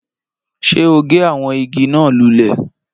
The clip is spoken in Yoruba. Ṣé o gé àwọn igi náà lulẹ̀?